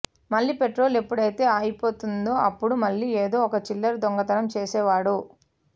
మళ్లీ పెట్రోల్ ఎప్పుడైతే అయిపోతుందో అప్పుడు మళ్లీ ఏదో ఒక చిల్లర దొంగతనం చేసేవాడు